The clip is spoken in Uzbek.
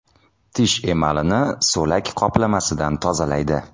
Tish emalini so‘lak qoplamasidan tozalaydi.